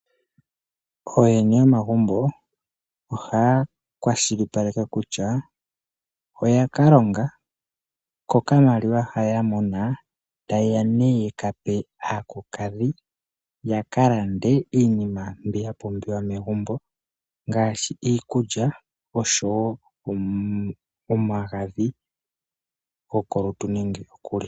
Ooyene yomagumbo ohaya kwashilipaleke kutya oya ka longa, ko okamaliwa ha ya mona ta ye ka pe aakulukadhi ya ka lande iinima mbi ya pumbiwa megumbo ngaashi iikulya osho wo omagadhi gokulya nenge gokugwaya.